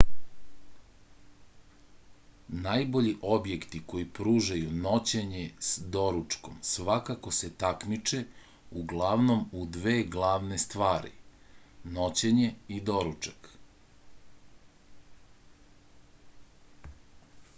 najbolji objekti koji pružaju noćenja s doručkom svakako se takmiče uglavnom u dve glavne stvari noćenje i doručak